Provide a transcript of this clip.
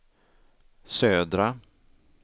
södra